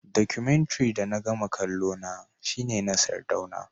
Documentary da na gama kallona shine na sardauna